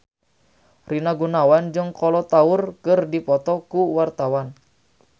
Rina Gunawan jeung Kolo Taure keur dipoto ku wartawan